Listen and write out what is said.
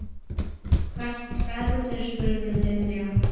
Hvert ferðu? spurði Lilla.